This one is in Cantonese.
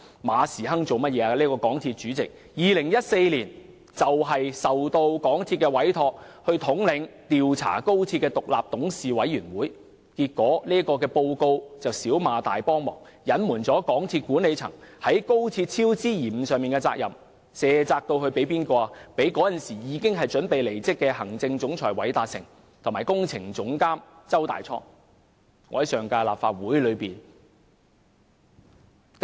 港鐵公司主席馬時亨在2014年獲港鐵公司委任統領調查高鐵工程的獨立董事委員會，結果調查報告"小罵大幫忙"，隱瞞港鐵公司管理層在高鐵工程超支延誤上的責任，卸責至當時已準備離職的行政總裁韋達誠和工程總監周大滄身上。